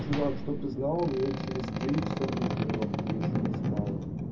чувак чтобы ты знала мне через девять часов на тренировку я ещё не спал